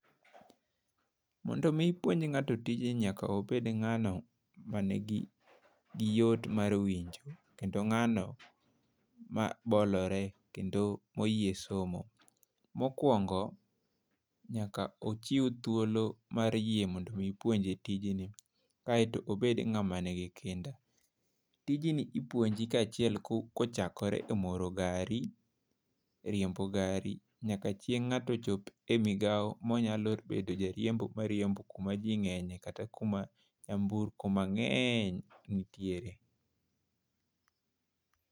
Mondo mi ipuonj ng'ato tijni nyako bed ng'ano ma nigi yot mar winjo kendo ng'ano ma bolore kendo moyie somo. Mokwongo, nyaka ochiw thuolo mar yie mondo mi opuonje tijni, aeto obed ng'ama nigi kinda . Tijni ipuonji kaachiel kochakre e moro gari, riembo gari nyaka chieng ng'ato chop e migawo monyalo bedo jariembo mariembo kuma jii ng'enye kata kuma nyamburko mang'eny nitiere.